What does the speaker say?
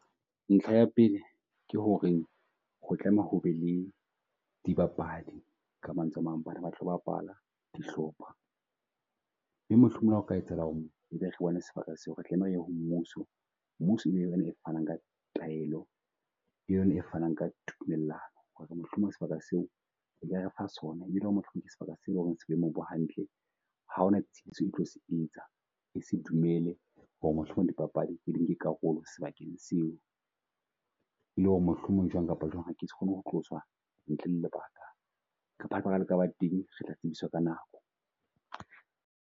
Ntlha ya pele, ke ho re ho tlameha ho be le dibapadi. Ka mantswe a mang bana ba tlo bapalla dihlopha mme mohlomong o ka etsahala ho re e be re bone sebaka seo, re tlameha ho mmuso. Mmuso e fanang ka taelo. Ke yona e fanang ka tumellano ho re mohlomong sebaka seo e ka refa sona e be e le ho re mohlomong ke sebaka se e leng se boemong bo hantle. Ha ona tshitiso e tlo se etsa. E se dumele ho re mohlomong papadi nke karolo sebakeng seo. E le ho re mohlomong jwang kapa jwang ke se kgone ho tloswa ntle le lebaka kapa lebaka la ka ba teng re tla tsebiswa ka nako.